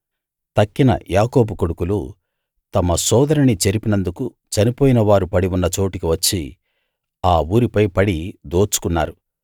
తక్కిన యాకోబు కొడుకులు తమ సోదరిని చెరిపినందుకు చనిపోయిన వారు పడి ఉన్నచోటికి వచ్చి ఆ ఊరిపై పడి దోచుకున్నారు